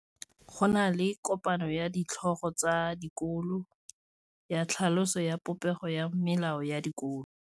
Go na le kopanô ya ditlhogo tsa dikolo ya tlhaloso ya popêgô ya melao ya dikolo.